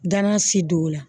Danna si don o la